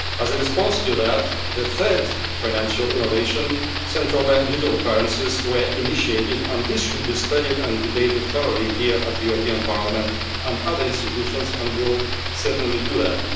As a response to that, the third financial innovation, central bank digital currencies, were initiated and this should be studied and debated thoroughly here at the European Parliament and other institutions, and we will certainly do that.